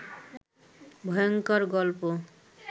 ভয়ংকর গল্প